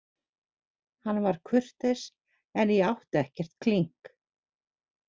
Hann var kurteis en ég átti ekkert klink.